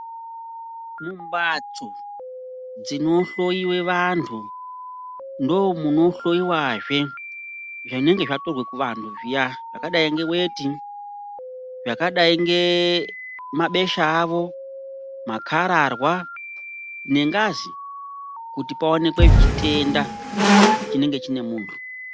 Mbatso ndinohloyiwa vantu ndomunohloyiwa zve zvinenge zvatorwa kuvantu zviya zvakadai ngeweti, zvakadai ngemabesha avo, makararwa nengazi kuti paonekwe chitenda chinenge chine muntu